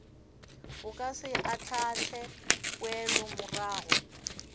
o ka se ahlaahle poelomorago